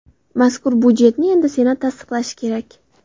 Mazkur budjetni endi Senat tasdiqlashi kerak.